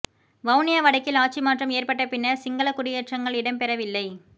வவுனியா வடக்கில் ஆட்சி மாற்றம் ஏற்பட்ட பின்னர் சிங்கள குடியேற்றங்கள் இடம்பெறவில்லை